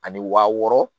Ani wa wɔɔrɔ